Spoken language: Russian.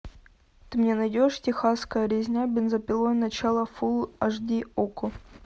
ты мне найдешь техасская резня бензопилой начало фулл аш ди окко